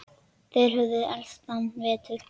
Þeir höfðu elst þennan vetur.